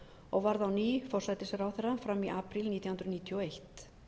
og varð á ný forsætisráðherra fram í apríl nítján hundruð níutíu og eitt